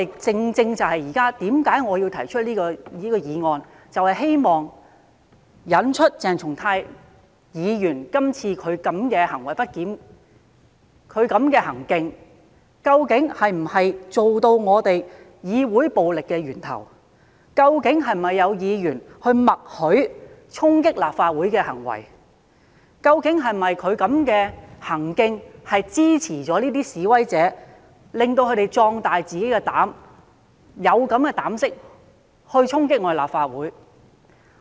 這也正正是我現在提出這項議案的原因，就是希望嘗試從鄭松泰議員今次的行為不檢，了解究竟他的行徑是否成為對議會施行暴力的源頭？究竟是否有議員默許衝擊立法會的行為？究竟他的行徑是否等同支持示威者，壯大了他們的膽子，讓他們有膽量去衝擊立法會？